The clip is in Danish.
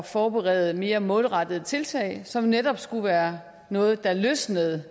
forberede mere målrettede tiltag som netop skulle være noget der løsnede